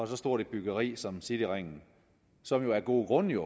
så stort et byggeri som cityringen som jo af gode grunde